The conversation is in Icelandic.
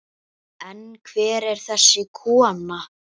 En hver er þessi kona?